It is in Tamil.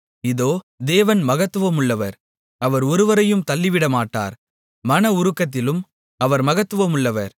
இதோ தேவன் மகத்துவமுள்ளவர் அவர் ஒருவரையும் தள்ளிவிடமாட்டார் மன உருக்கத்திலும் அவர் மகத்துவமுள்ளவர்